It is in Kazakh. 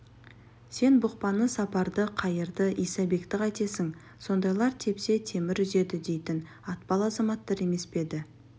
сен бұқпаны сапарды қайырды исабекті қайтесің сондайлар тепсе темір үзеді дейтін атпал азаматтар емес пе еді